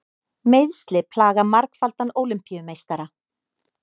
Meiðsli plaga margfaldan Ólympíumeistara